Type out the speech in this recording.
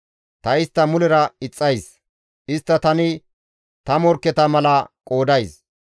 Ta istta mulera ixxays; istta tani ta morkketa mala qoodays.